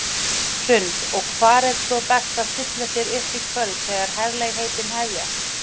Hrund: Og hvar er svo best að stilla sér upp í kvöld þegar herlegheitin hefjast?